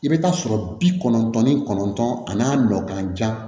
I bɛ taa sɔrɔ bi kɔnɔntɔn ni kɔnɔntɔn ani'a nɔ ka jan